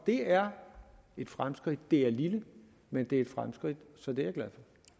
det er et fremskridt det er lille men det er et fremskridt så det